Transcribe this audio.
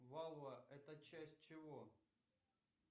валва это часть чего